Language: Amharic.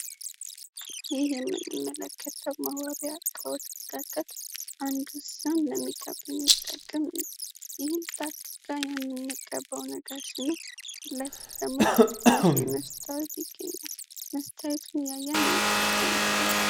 ይህ የምንመለከተው መዋቢያ እቃወች መካከል አንዱ ሲሆን ለሚቃቡ የሚጠቅም ነው ይህን የምንቀበው ነገር ሲሆን እነዚህ ደግሞ ትንሽ የመስታወት ቤት ይገኛል መስታወቱን እያየን እንጠቀምበታለን።